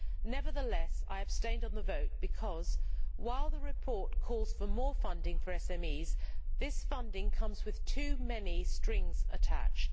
Nevertheless, I abstained on the vote because, while the report calls for more funding for SMEs, this funding comes with too many strings attached.